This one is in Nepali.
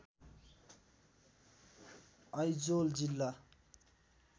आइजोल जिल्ला